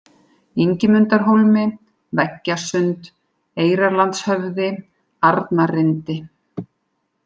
Ingimundarhólmi, Veggjasund, Eyrarlandshöfði, Arnarrindi